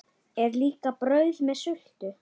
Er líka brauð með sultu?